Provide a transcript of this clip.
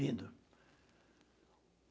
Lindo.